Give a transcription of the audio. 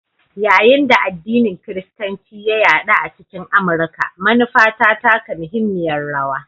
Yayin da addinin Kiristanci ya yaɗu a cikin Amurka, manufa ta taka muhimmiyar rawa.